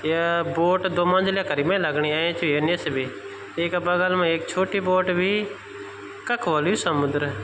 या बोट दो मंजिले करीब मै लगणि ऐंच ए निस्से बि येका बगल मा ऐक छोट्टी बोट बि कख होलु यू समुद्र।